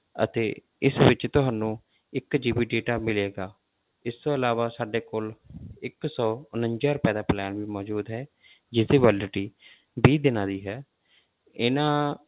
ਅਤੇ ਇਸ ਵਿੱਚ ਤੁਹਾਨੂੰ ਇੱਕ GB data ਮਿਲੇਗਾ, ਇਸ ਤੋਂ ਇਲਾਵਾ ਸਾਡੇ ਕੋਲ ਇੱਕ ਸੌ ਉਣੰਜਾ ਰੁਪਏ ਦਾ plan ਮੌਜੂਦ ਹੈ ਜਿਹਦੀ validity ਵੀਹ ਦਿਨਾਂ ਦੀ ਹੈ ਇਹਨਾਂ,